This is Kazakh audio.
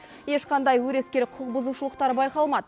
ешқандай өрескел құқықбұзушылықтар байқалмады